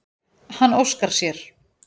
Hann óskar sér.